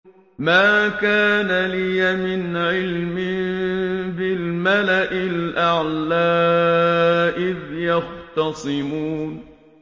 مَا كَانَ لِيَ مِنْ عِلْمٍ بِالْمَلَإِ الْأَعْلَىٰ إِذْ يَخْتَصِمُونَ